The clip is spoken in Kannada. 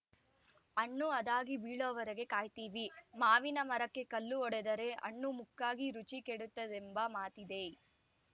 ಹಣ್ಣು ಅದಾಗಿ ಬೀಳೋವರೆಗೆ ಕಾಯ್ತೀವಿ ಮಾವಿನ ಮರಕ್ಕೆ ಕಲ್ಲು ಹೊಡೆದರೆ ಹಣ್ಣು ಮುಕ್ಕಾಗಿ ರುಚಿ ಕೆಡುತ್ತದೆಂಬ ಮಾತಿದೆ